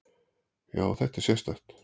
Já, þetta er sérstakt.